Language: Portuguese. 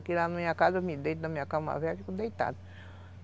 Aqui lá na minha casa, eu me deito na minha cama velha, fico deitada.